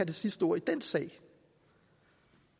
det sidste ord i den sag